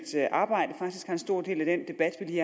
arbejde faktisk har en stor del af den debat vi